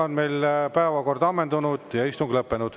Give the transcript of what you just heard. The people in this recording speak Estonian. Meie päevakord on ammendunud ja istung lõppenud.